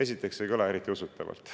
Esiteks ei kõla eriti usutavalt.